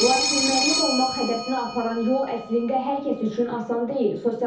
Lakin müəllim olmaq hədəfinə aparan yol əslində hər kəs üçün asan deyil.